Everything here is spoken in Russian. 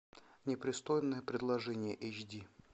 непристойное предложение эйч ди